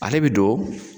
Ale bi don